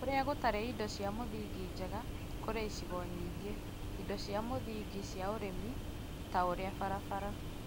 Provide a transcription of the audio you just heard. Kũrĩa gũtarĩ indo cia mũthingi njega kũrĩ icigo nyingĩ, indo cia mũthingi cia ũrĩmi ta ũrĩa barabara,